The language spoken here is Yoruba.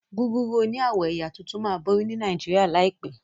Gúgúrú òní awọ ẹyà títún má bori ní Nàìjíríà láìpé.